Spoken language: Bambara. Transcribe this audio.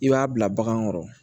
I b'a bila bagan kɔrɔ